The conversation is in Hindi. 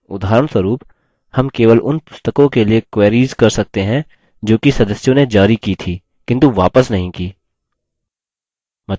उदाहरणस्वरुप हम केवल उन पुस्तकों के लिए query कर सकते हैं जोकि सदस्यों ने जारी की थी किन्तु वापस नहीं की